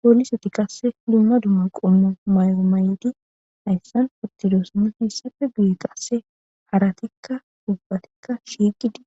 pooliseti qasse dumma dumma qomma may7o may7di hayssan pustido soman hayssafe guye qasse haratikka hubbatikka shiiqidi